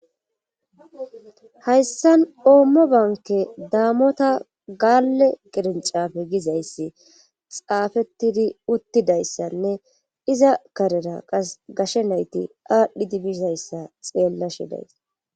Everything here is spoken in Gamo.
Hayssan oommo banke daamota gaalle gerincafe gizayssi xaafettidi uttidayssanne iza karera qas gashe nayti aadhdhi dibizayssa xeella shidays.